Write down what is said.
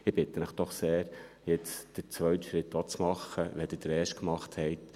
Ich bitte Sie doch sehr, jetzt den zweiten Schritt auch zu machen, wenn Sie den ersten gemacht haben.